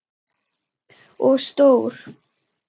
Og stór.